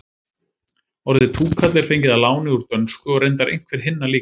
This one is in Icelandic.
orðið túkall er fengið að láni úr dönsku og reyndar einhver hinna líka